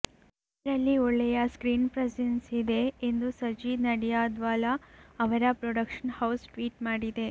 ಅವರಲ್ಲಿ ಒಳ್ಳೆಯ screen presence ಇದೆ ಎಂದು ಸಜೀದ್ ನಡೀಯಾದ್ವಾಲ ಅವರ ಪ್ರೊಡಕ್ಷನ್ ಹೌಸ್ ಟ್ವೀಟ್ ಮಾಡಿದೆ